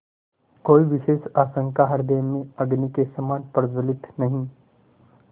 कोई विशेष आकांक्षा हृदय में अग्नि के समान प्रज्वलित नहीं